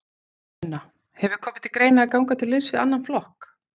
Sunna: Hefur komið til greina að ganga til liðs við annan flokk?